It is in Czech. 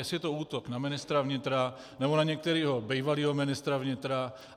Jestli je to útok na ministra vnitra, nebo na některého bývalého ministra vnitra?